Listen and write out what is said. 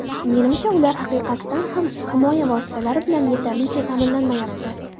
Menimcha, ular haqiqatan ham himoya vositalari bilan yetarlicha ta’minlanmayapti.